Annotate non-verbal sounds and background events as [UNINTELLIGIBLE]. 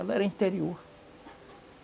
[UNINTELLIGIBLE] era interior.